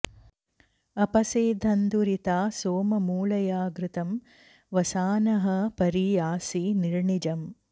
अ॒प॒सेध॑न्दुरि॒ता सो॑म मृळय घृ॒तं वसा॑नः॒ परि॑ यासि नि॒र्णिज॑म्